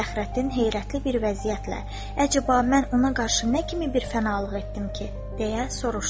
Fəxrəddin heyrətli bir vəziyyətlə "Əcəba, mən ona qarşı nə kimi bir fənalıq etdim ki?" deyə soruşdu.